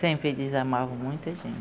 Sempre eles amavam muita a